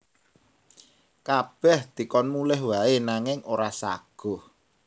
Kabèh dikon mulih waé nanging ora saguh